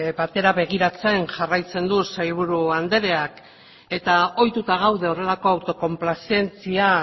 batera begiratzen jarraitzen du sailburu andreak eta ohituta gaude horrelako autokonplazentzia